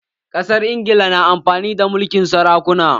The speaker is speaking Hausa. Ƙasar Ingila na amfani da mulkin sarakuna